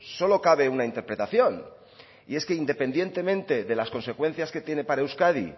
solo cabe una interpretación y es que independientemente de las consecuencias que tiene para euskadi